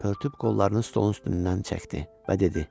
Pörtüb qollarını stolun üstündən çəkdi və dedi: